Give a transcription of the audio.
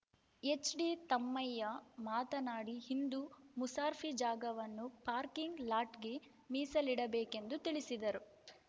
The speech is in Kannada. ಎಚ್‌ಡಿ ತಮ್ಮಯ್ಯಮಾತನಾಡಿ ಹಿಂದೂ ಮುಸಾರ್ಫಿ ಜಾಗವನ್ನು ಪಾರ್ಕಿಂಗ್‌ ಲಾಟ್‌ಗೆ ಮೀಸಲಿಡಬೇಕೆಂದು ತಿಳಿಸಿದರು